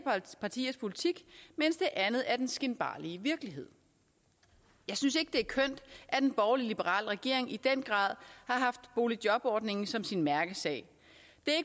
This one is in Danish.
partiers politik mens det andet er den skinbarlige virkelighed jeg synes ikke det er kønt at en borgerlig liberal regering i den grad har haft boligjobordningen som sin mærkesag